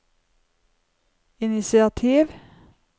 initiativ